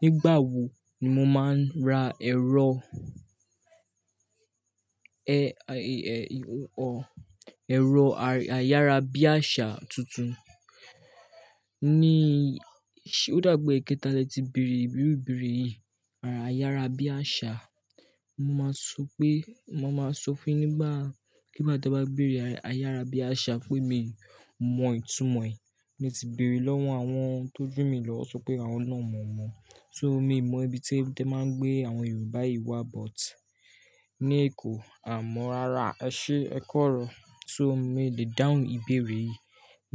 Nígbà wo ni mo máa ra ẹ̀rọ, e e e ẹ̀rọ ayárabíàṣá tuntun? Ní, o dàgbi éketa lè ti bèrè ìbéèrè ìbéèrè yìí, ayárabíàṣá. Mo máa sọ pé, mo máa sọ fún ẹ nígbà, kí bá tí o bá béèrè ayárabíàṣá pé mi mọ itumo ẹ̀. Mo ti bèrè lọ́wọ́ àwọn tó ju mi lọ sọ pé àwọn náà mọ̀ ọ́n. So, mi mọ ibi tí wọ́n ti máa ń gbé àwọn Yorùbá yìí wá but ní Èkó, a mọ rara. Ẹ ṣé ẹ kọ̀rọ̀. So mi le dáhùn ìbéèrè yìí